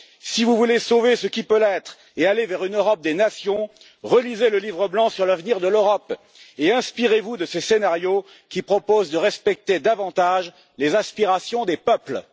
Si vous voulez sauver ce qui peut l'être et aller vers une Europe des nations, relisez le livre blanc sur l'avenir de l'Europe et inspirez vous de ses scénarios qui proposent de respecter davantage les aspirations des peuples.